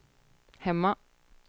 hemma